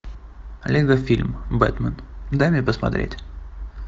лего фильм бэтмен дай мне посмотреть